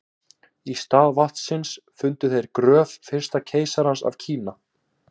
í stað vatnsins fundu þeir gröf fyrsta keisarans af kína